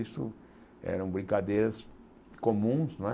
Isso eram brincadeiras comuns não é.